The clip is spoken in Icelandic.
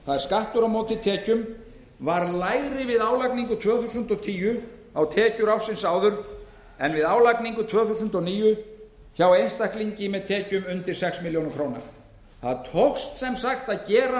er skattur á móti tekjum var minni við álagningu tvö þúsund og tíu á tekjur fyrra árs en við álagningu tvö þúsund og níu hjá einstaklingi með tekjur undir sex milljónir króna það tókst sem sagt að gera